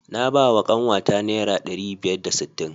Na bawa kanwata naira ɗari biyar da sittin.